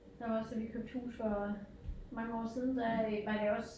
Der var også da vi købte hus for mange år siden der øh var det også